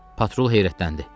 Patrul heyrətləndi.